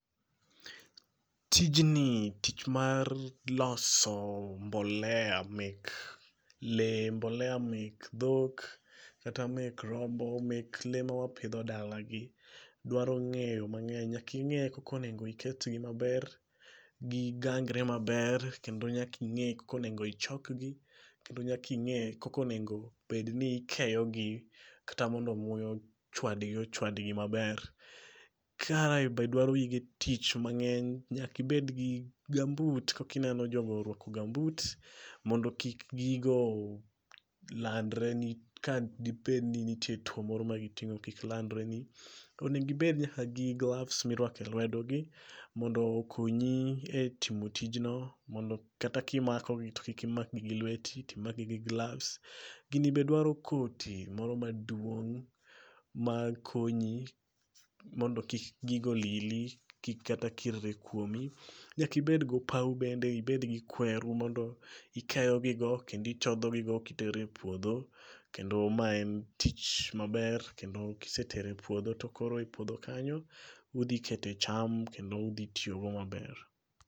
Tijni tich mar loso mbolea mek le. Mbolea mek dhok. Kata mek rombo, mek le mawapidho dala gi dwaro ng'eyo mang'eny. Nyaka ing'e koko onengo iket gi maber. Gigangre maber kendo nyaking'e koko onengo ichok gi. Kendo nyaka ing'e koko onengo bed ni ikeyo gi kata mondo muya ochwadgi ochwadgi maber. Kae be dwaro gige tich mang'eny. Nyakibed gi gumboot kakineno jogo orwako gumboot mondo kik gigo landre ni ka dibed ni nitie tuo moro magitong'o kik landre ni. Onengi bed nyaka gi gloves mirwako e lwedo gi mondo okonyi e timo tijno mondo kata kimako gi to kik imak gi gi lweti timak gi gi gloves. Gini be dwaro koti moro ma duong' makonyi mondo kik gigo lili. Kik kata kir re kuomi. Nyaki bed gopaw bende ibed gi kweru mondo ikeyo gigo kendo ichodho gigo kitere puodho. Kendo ma en tich maber kendo kisetere puodho to koro e puodho kanyo odhi kete cham kendo kendo uthi tiyogodo maber.